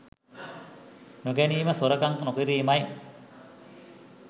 නොගැනීම සොරකම් නොකිරීමයි.